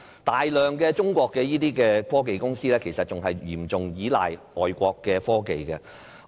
大量中國科技公司其實仍然嚴重依賴外國的科技。